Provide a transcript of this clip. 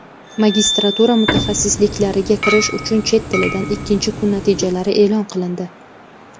Magistratura mutaxassisliklariga kirish uchun chet tilidan ikkinchi kun natijalari e’lon qilindi.